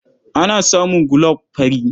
Ana samun gulob fari.